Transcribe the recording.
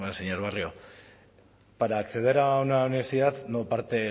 señor barrio para acceder a una universidad no parte